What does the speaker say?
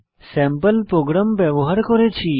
sample program ব্যবহার করেছি